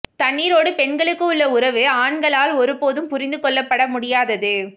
தண்ணீரோடு பெண்களுக்கு உள்ள உறவு ஆண்களால் ஒரு போதும் புரிந்து கொள்ளபட முடியாதது